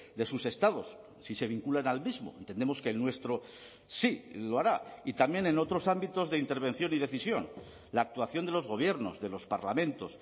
de sus estados si se vinculan al mismo entendemos que el nuestro sí lo hará y también en otros ámbitos de intervención y decisión la actuación de los gobiernos de los parlamentos